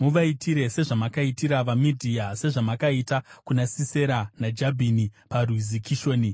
Muvaitire sezvamakaitira vaMidhia, sezvamakaita kuna Sisera naJabhini paRwizi Kishoni,